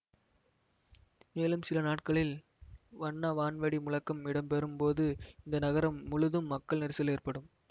மேலும் சில நாட்களில் வண்ண வான்வெடி முழக்கம் இடம்பெறும் போது இந்த நகரம் முழுதும் மக்கள் நெரிசல் ஏற்படும்